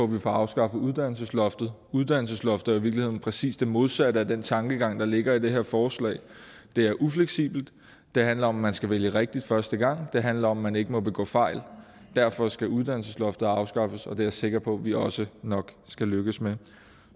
vi får afskaffet uddannelsesloftet uddannelsesloftet jo i virkeligheden præcis det modsatte af den tankegang der ligger i det her forslag det er ufleksibelt det handler om at man skal vælge rigtigt første gang det handler om at man ikke må begå fejl derfor skal uddannelsesloftet afskaffes og det er jeg sikker på at vi også nok skal lykkes med